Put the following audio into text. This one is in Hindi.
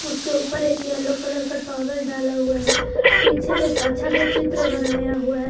उसके ऊपर एक येलो कलर का टॉवल डाला हुआ है पीछे एक अच्छा सा चित्र बनाया हुआ है।